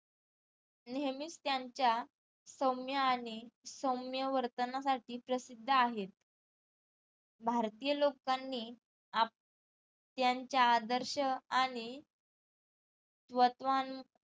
नेहमीच त्यांच्या सौम्य आणि सौम्य वर्तनासाठी प्रसिद्ध आहेत भारतीय लोकांनी आप त्यांच्या आदर्श आणि तत्वांन